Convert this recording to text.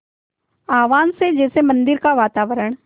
आह्वान से जैसे मंदिर का वातावरण